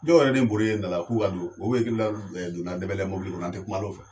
Dɔn yɛrɛ ni bɔri ye nala k'u ka don. O be kilal donna Dɛbɛlɛ mobili kɔnɔ an te kumal'o fɛ.